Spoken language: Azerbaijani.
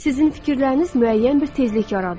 Sizin fikirləriniz müəyyən bir tezlik yaradır.